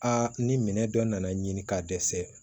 Aa ni minɛ dɔ nana ɲini ka dɛsɛ